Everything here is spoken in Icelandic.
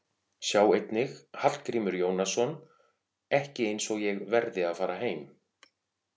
Sjá einnig: Hallgrímur Jónasson: Ekki eins og ég verði að fara heim